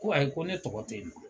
Ko ayi ko ne tɔgɔ te yen.